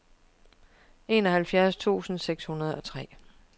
enoghalvfjerds tusind seks hundrede og tre